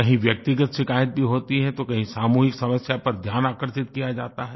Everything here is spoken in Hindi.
कहीं व्यक्तिगत शिकायत भी होती हैं तो कहीं सामूहिक समस्या पर ध्यान आकर्षित किया जाता है